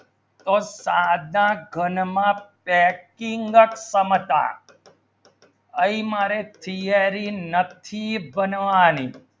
તર શાધા ઘણ માં પેકયું સમાસા ઐ મારી theory નથી બનવાની